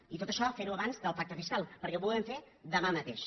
i tot això ferho abans del pacte fiscal perquè ho podem fer demà mateix